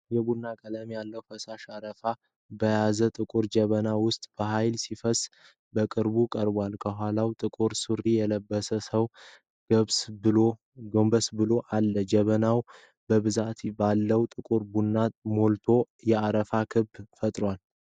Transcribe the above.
የቡና ቀለም ያለው ፈሳሽ አረፋ በያዘ ጥቁር ጀበና ውስጥ በኃይል ሲፈስ በቅርበት ቀርቧል። ከኋላ ጥቁር ሱሪ የለበሰ ሰው ጎንበስ ብሎ አለ። ጀበናው በብዛት ባለው ጥቁር ቡና መልቶ የአረፋ ክበብ ፈጥሯል።